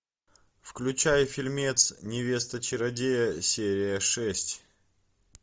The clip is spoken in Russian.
включай фильмец невеста чародея серия шесть